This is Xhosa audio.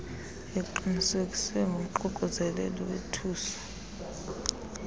iqinisekiswe ngumququzeleli wethuso